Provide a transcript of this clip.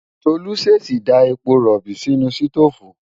Tolú ṣèèṣì da epo rọ̀bì sínú sítóòfù.